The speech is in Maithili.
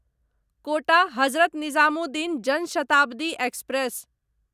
quota Hazrat Nizamuddin Jan Shatabdi express